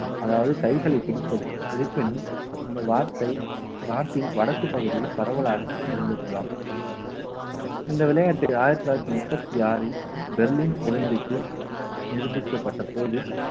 அதாவது கைகளை பிடிப்பது இருப்பினும் இந்த வார்த்தை நாட்டின் வடக்குப் பகுதியில் பரவலாக இருந்திருக்கலாம் இந்த விளையாட்டு ஆயிரத்தி தொள்ளாயிரத்தி முப்பத்தி ஆறில் டெல்லி ஒலிம்பிக்ல் நிரூபிக்கப்பட்ட போது